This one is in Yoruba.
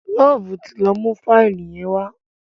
Love tí ló mú Fáìlì yen wá